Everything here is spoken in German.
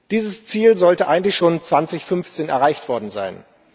Dieses Ziel sollte eigentlich schon 2015 erreicht worden sein.